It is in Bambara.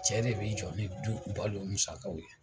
Cɛ de bɛ i jɔ ni du balo musakaw ye.